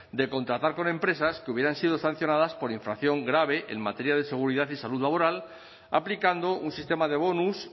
de contratar con empresas que hubieran sido sancionadas por infracción grave en materia de seguridad y salud laboral aplicando un sistema de bonus